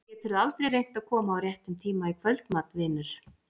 Geturðu aldrei reynt að koma á réttum tíma í kvöldmat, vinur?